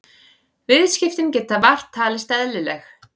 Viðskiptin geta vart talist eðlileg